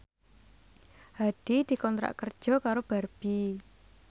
Hadi dikontrak kerja karo Barbie